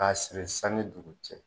K'a siri san ni dugu cɛ.